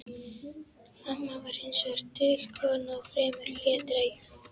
Amma var hins vegar dul kona og fremur hlédræg.